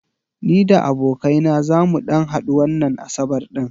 Ni da abokai na zamu ɗan hadu wannan asabar ɗin.